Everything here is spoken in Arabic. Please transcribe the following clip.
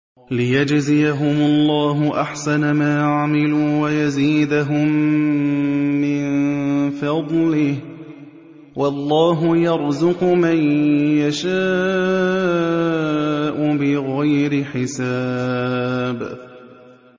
لِيَجْزِيَهُمُ اللَّهُ أَحْسَنَ مَا عَمِلُوا وَيَزِيدَهُم مِّن فَضْلِهِ ۗ وَاللَّهُ يَرْزُقُ مَن يَشَاءُ بِغَيْرِ حِسَابٍ